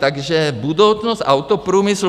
Takže budoucnost autoprůmyslu...